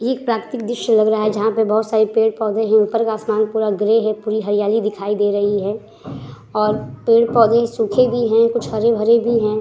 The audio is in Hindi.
ये एक प्राकृतिक दृश्य लग रहा है जहां पे बहोत सारे पेड़-पौधे हैं। ऊपर का आसमान पूरा ग्रे है। पूरी हरियाली दिखाई दे रही है और पेड़-पौधे सूखे भी है कुछ हरे-भरे भी हैं।